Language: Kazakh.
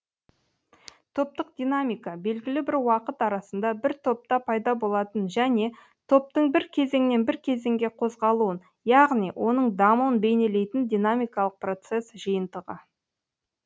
топтық динамика белгілі бір уақыт арасында бір топта пайда болатын және топтың бір кезеңнен бір кезеңге қозғалуын яғни оның дамуын бейнелейтін динамикалық процесс жиынтығы